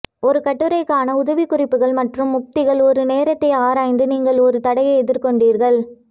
ஒரு கட்டுரைக்கான உதவிக்குறிப்புகள் மற்றும் உத்திகள் ஒரு நேரத்தை ஆராய்ந்து நீங்கள் ஒரு தடையை எதிர்கொண்டீர்கள்